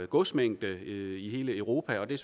godsmængde i hele europa og det